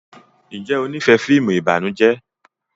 Njé o n'ifẹ fíìmù ìbànújẹ?